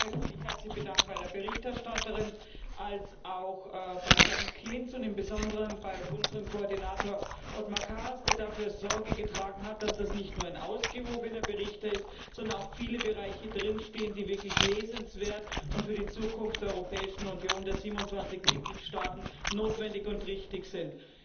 Erst einmal möchte ich mich ganz herzlich bei der Berichterstatterin und auch bei Herrn Klinz und im besonderen bei unserem Koordinator Othmar Karas bedanken, der dafür Sorge getragen hat, dass dies nicht nur ein ausgewogener Bericht ist, sondern auch viele Bereiche darin stehen, die wirklich lesenswert und für die Zukunft der Europäischen Union der 27 Mitgliedstaaten notwendig und richtig sind.